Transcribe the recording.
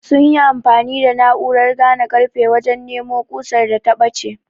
sunyi amfani da na'urar gane karfe wajen nemo kusar da ta bace